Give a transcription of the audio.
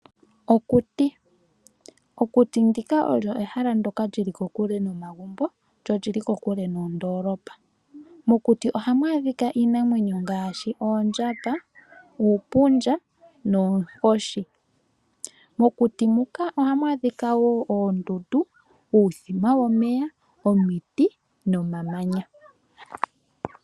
Okuti olyo hela ndoka li li kokule nomagumbo lyo olyi li kokule noondolopa. Mokuti lha mu adhika iinamwenyo ngaashi oondjamba, uupundja noonkoshi. Mokuti muka ohamu adhika wo oondundu, uuthima womeya, omiti nomamanya.